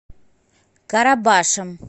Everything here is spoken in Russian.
карабашем